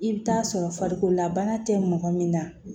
I bɛ taa sɔrɔ farikolola bana tɛ mɔgɔ min na